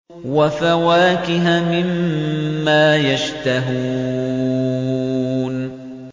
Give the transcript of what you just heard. وَفَوَاكِهَ مِمَّا يَشْتَهُونَ